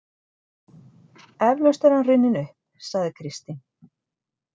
Eflaust er hann runninn upp, sagði Kristín.